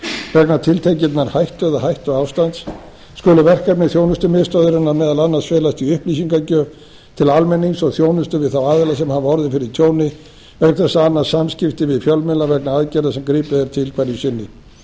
vegna tiltekinnar hættu eða hættuástands skulu verkefni þjónustumiðstöðvarinnar meðal annars felast í upplýsingagjöf til almennings og þjónustu við þá aðila sem hafa orðið fyrir tjóni vegna þess að annast samskipti við fjölmiðla vegna aðgerða sem gripið er til hverju sinni